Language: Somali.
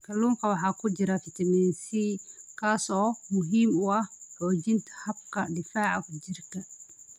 Kalluunka waxaa ku jira fitamiin C, kaas oo muhiim u ah xoojinta habka difaaca jirka.